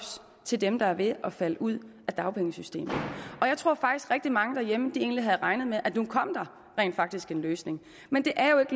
til dem der ved at falde ud af dagpengesystemet jeg tror faktisk rigtig mange derhjemme egentlig havde regnet med at nu kom der rent faktisk en løsning men det er jo ikke